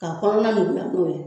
K'a hɔnɔna Nuguya n'o ye